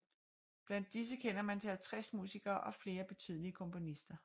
Blandt disse kender man til 50 musikere og flere betydelige komponister